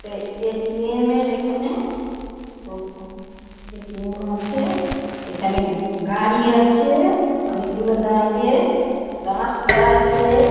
এটা A .T .M. -এর এখানে দোকান এ .টি .এম. আছে এখানে গাড়ি আছে অনেকগুলো বাইরে রাস্তা আছে।